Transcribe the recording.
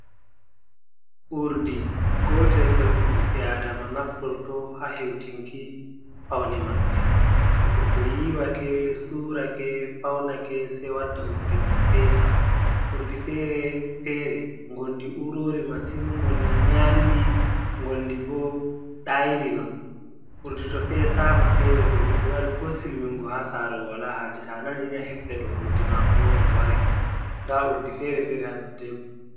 Urdi gootel nder ko ɓiɓɓe aadama naftorto, haa hewtinki fawne maɓɓe. Goɗɗo to yiiwake, suurake, fawnake, sey wadda urdi mum feesa. Urdi fere fere ngonndi uurori masin, ngonndi nyaaɗndi, ngonndi bo dayndi non. Urdi to feesaama, feere to goɗɗo wari ko silmingo haa saare, wala haaje, to a nanini a heftan ɗo urdi maako on, o wari. Ndaa urdi fere fere haa dow tebur.